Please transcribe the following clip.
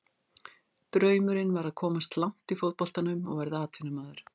Draumurinn var að komast langt í fótboltanum og verða atvinnumaður.